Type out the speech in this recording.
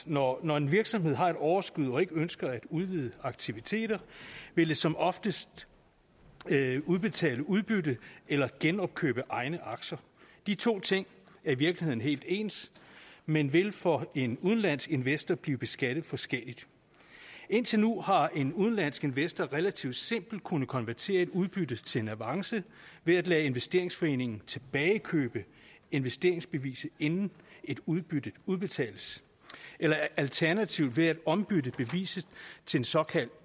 når når en virksomhed har et overskud og ikke ønsker at udvide aktiviteterne vil de som oftest udbetale udbytte eller genopkøbe egne aktier de to ting er i virkeligheden helt ens men vil for en udenlandsk investor blive beskattet forskelligt indtil nu har en udenlandsk investor relativt simpelt kunnet konvertere et udbytte til en avance ved at lade investeringsforeningen tilbagekøbe investeringsbeviset inden et udbytte udbetales eller alternativt ved at ombytte beviset til et såkaldt